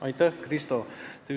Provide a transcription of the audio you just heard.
Aitäh, Krista!